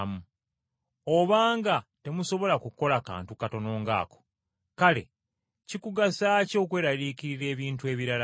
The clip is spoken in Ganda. Obanga temusobola kukola kantu katono ng’ako, kale kikugasa ki okweraliikirira ebintu ebirala?